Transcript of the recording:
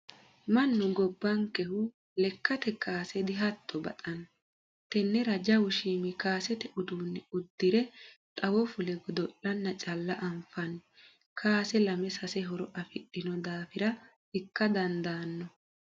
Mannu gobbankehu lekkate kaase dihatto baxano tenera jawu shiimu kaasete uduune uddire xawo fulle godo'lanna calla anfanni kaase lame sase horo afidhino daafira ikka dandaano.